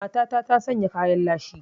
Matata ta sanya kayan lashi